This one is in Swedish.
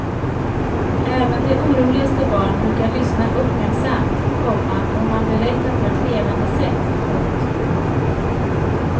Även de oroligaste barn brukar lyssna uppmärksamt, komma om man berättar på ett levande sätt. punkt